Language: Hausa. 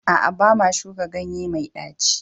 A'a, ba ma shuka ganye mai ɗaci ba.